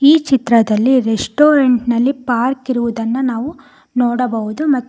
ಈ ಚಿತ್ರದಲ್ಲಿ ರೆಸ್ಟೋರೆಂಟ್ ನಲ್ಲಿ ಪಾರ್ಕ್ ಇರುವುದನ್ನ ನಾವು ನೋಡಬಹುದು ಮತ್ತು--